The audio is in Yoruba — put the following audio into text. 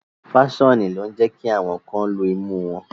Faṣoni lo ǹ jẹ ki awọn kan lú imu wọn